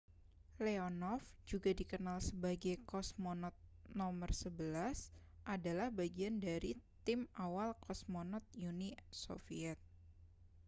leonov juga dikenal sebagai kosmonot no 11 adalah bagian dari tim awal kosmonot uni soviet